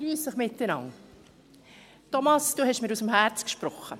Thomas Brönnimann, du hast mir aus dem Herzen gesprochen.